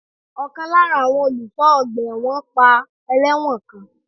Ọ̀kan lára àwọn olùṣọ́ ọgbà ẹ̀wọ̀n pa ẹlẹ́wọ̀n kan.